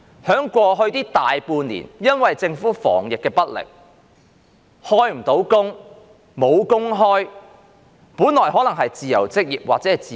在過去大半年，由於政府防疫不力，很多人無法開工、沒有工作可做。